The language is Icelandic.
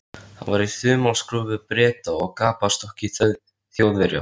Hann var í þumalskrúfu Breta og gapastokki Þjóðverja.